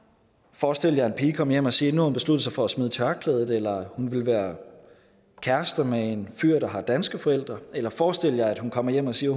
forestil jer en pige komme hjem og sige at hun besluttet sig for at smide tørklædet eller at hun vil være kæreste med en fyr der har danske forældre eller forestil jer at hun kommer hjem og siger